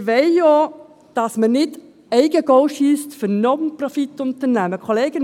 Wir wollen auch, dass man keine Eigengoals für Non-Profit-Unternehmungen schiesst.